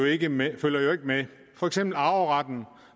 ikke med for eksempel arveretten